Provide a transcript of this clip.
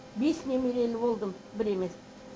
бес немерелі болдым бір емес